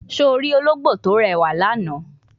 Se o ri ologbo ti o rewa ni ana?